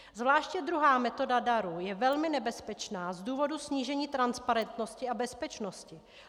Zvláště druhá metoda darů je velmi nebezpečná z důvodu snížení transparentnosti a bezpečnosti.